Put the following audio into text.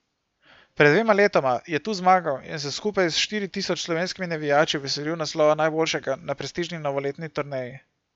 Pred dvema letoma je tu zmagal in se skupaj s štiri tisoč slovenskimi navijači veselil naslova najboljšega na prestižni novoletni turneji.